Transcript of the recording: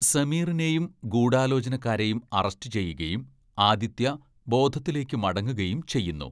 സമീറിനെയും ഗൂഢാലോചനക്കാരെയും അറസ്റ്റ് ചെയ്യുകയും ആദിത്യ ബോധത്തിലേക്കു മടങ്ങുകയും ചെയ്യുന്നു.